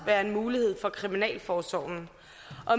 være en mulighed for kriminalforsorgen